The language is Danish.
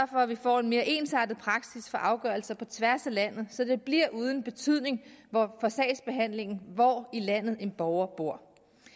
for at vi får en mere ensartet praksis for afgørelser på tværs af landet så det bliver uden betydning for sagsbehandlingen hvor i landet en borger bor